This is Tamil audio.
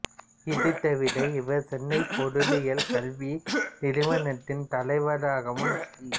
இது தவிர இவர் சென்னை பொருளியல் கல்வி நிறுவனத்தின் தலைவராகவும் சி